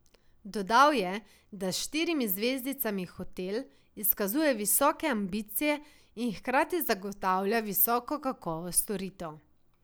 Dodal je, da s štirimi zvezdicami hotel izkazuje visoke ambicije in hkrati zagotavlja visoko kakovost storitev.